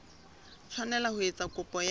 tshwanela ho etsa kopo ya